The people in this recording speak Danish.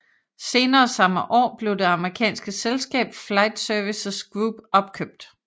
Senere samme år blev det amerikanske selskab Flight Services Group opkøbt